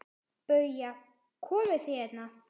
BAUJA: Komið þið hérna!